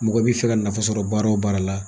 Mɔgɔ i b'i fɛ ka nafa sɔrɔ baara wo baara la.